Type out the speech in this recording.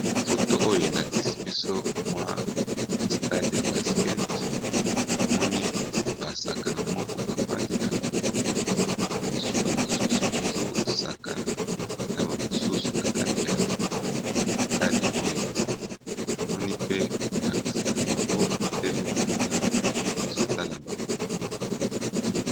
Foto oyo elakisi biso mwa stade ya basket emoni basakana moko bafandi na bango bamosusu bazosakana na bamosusu na kati ya stade oyo emoni pe molakisa na bango atelemi kuna ezotala bango.